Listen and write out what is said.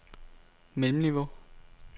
mellemniveau